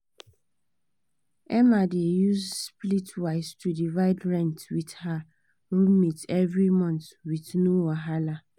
emma dey use splitwise to divide rent with her roommates every month with no wahala